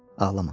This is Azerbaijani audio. Ağlama.